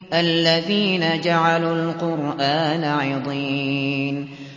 الَّذِينَ جَعَلُوا الْقُرْآنَ عِضِينَ